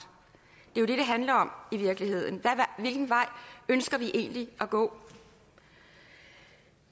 det er jo det det handler om i virkeligheden hvilken vej ønsker vi egentlig at gå